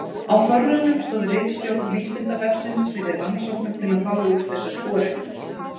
Á Þorranum stóð ritstjórn Vísindavefsins fyrir rannsóknum til að fá úr þessu skorið.